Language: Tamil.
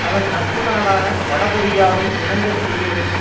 அதன் நட்பு நாடான வடகொரியாவை இணங்க செய்யவேண்டும்